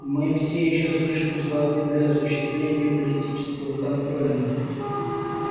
мы все ещё слишком слабы для осуществления политического контроля